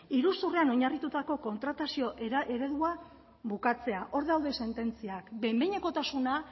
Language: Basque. iruzurrean oinarritutako kontratazio eredua bukatzea hor daude sententziak behin behinekotasuna